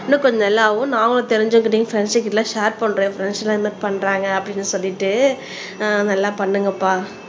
இன்னும் கொஞ்சம் நல்லா ஆகும் நாங்களும் தெரிஞ்சவங்ககிட்டயும் பிரண்ட்ஸ்கிட்ட ஷார் பண்றேன் என் பிரண்ட்ஸ் எல்லாம் இதுமாரி பண்றாங்க அப்படின்னு சொல்லிட்டு ஆஹ் நல்லா பண்ணுங்கப்பா